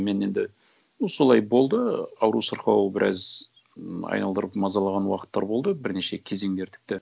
мен енді ну солай болды ауру сырқау біраз айналдырып мазалаған уақыттар болды бірнеше кезеңдер тіпті